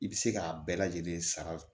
I bɛ se k'a bɛɛ lajɛlen sara